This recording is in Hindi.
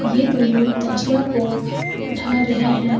ये दोनों तजिया को उठा रहे हैं।